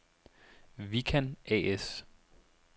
Vikan A/S